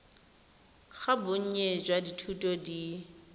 ga bonnye jwa dithuto di